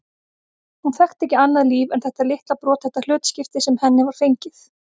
Hún þekkti ekki annað líf en þetta litla brothætta hlutskipti sem henni var fengið.